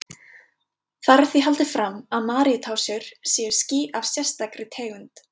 Þar er því haldið fram að Maríutásur séu ský af sérstakri tegund.